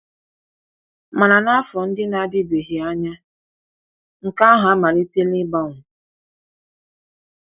Mana n’afọ ndị na-adịbeghị anya, nke ahụ amalitela ịgbanwe.